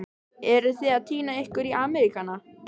Eruð þið að týna ykkur í Ameríkana?